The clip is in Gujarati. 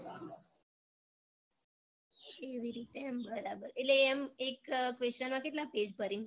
એવી રીતે એમ બરાબર એટલે એમ એક question માં કેટલા pen ભરીને લખો